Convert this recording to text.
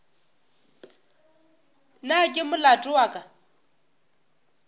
na ke molato wa ka